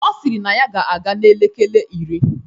Ọ sịrị na ya ga-aga n'elekele iri.